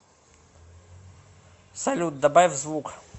салют добавь звук